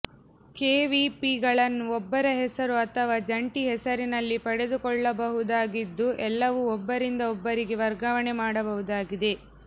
ಕೆವಿಪಿಗಳನ್ನು ಒಬ್ಬರ ಹೆಸರು ಅಥವಾ ಜಂಟಿ ಹೆಸರಿನಲ್ಲಿ ಪಡೆದುಕೊಳ್ಳಬಹುದಾಗಿದ್ದು ಎಲ್ಲವೂ ಒಬ್ಬರಿಂದ ಒಬ್ಬರಿಗೆ ವರ್ಗಾವಣೆ ಮಾಡಬಹುದಾಗಿದೆ